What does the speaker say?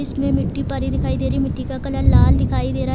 इसमें मिट्टी पड़ी दिखाई दे रही है मिट्टी का कलर लाल दिखाई दे रहा है |